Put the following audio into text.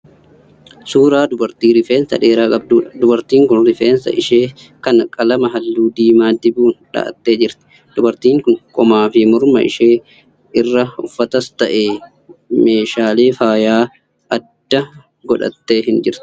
Suuraa dubartii rifeensa dheeraa qabduudha. Dubartiin kun rifeensa ishee kana qalama halluu diimaa dibuun dha'attee jirti. Dubartiin kun qomaa fi morma ishee irraa uffatas ta'e meeshaalee faayya addaa godhattee hin jirtu.